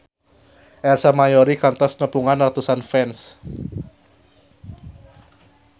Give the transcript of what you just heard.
Ersa Mayori kantos nepungan ratusan fans